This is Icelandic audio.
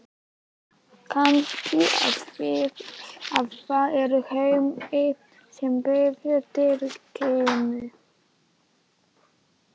Kannski af því að það er Hemmi sem býður drykkinn.